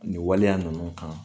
Nin waleya ninnu kan